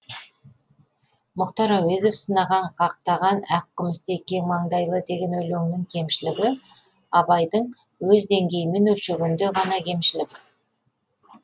мұхтар әуезов сынаған қақтаған ақ күмістей кең маңдайлы деген өлеңнің кемшілігі абайдың өз деңгейімен өлшегенде ғана кемшілік